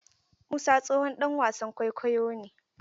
Musa tsohon ɗan wasan kwaikwayo ne.